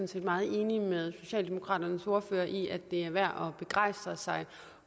set meget enig med socialdemokraternes ordfører i at det er værd at begejstre sig